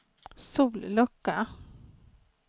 sollucka